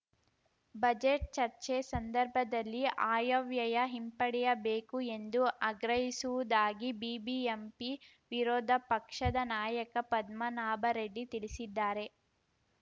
budget ಚರ್ಚೆ ಸಂದರ್ಭದಲ್ಲಿ ಆಯವ್ಯಯ ಹಿಂಪಡೆಯಬೇಕು ಎಂದು ಆಗ್ರಹಿಸುವುದಾಗಿ ಬಿಬಿಎಂಪಿ ವಿರೋಧ ಪಕ್ಷದ ನಾಯಕ ಪದ್ಮನಾಭರೆಡ್ಡಿ ತಿಳಿಸಿದ್ದಾರೆ